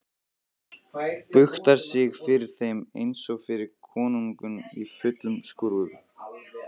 Buktar sig fyrir þeim einsog fyrir konungum í fullum skrúða.